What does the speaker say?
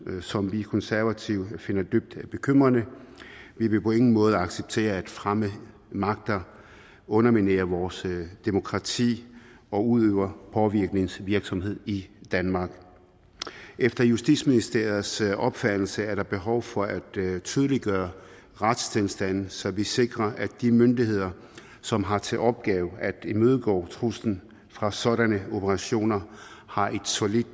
som vi konservative finder dybt bekymrende vi vil på ingen måde acceptere at fremmede magter underminerer vores demokrati og udøver påvirkningsvirksomhed i danmark efter justitsministeriets opfattelse er der behov for at tydeliggøre retstilstanden så vi sikrer at de myndigheder som har til opgave at imødegå truslen fra sådanne operationer har et solidt